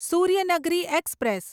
Suryanagari express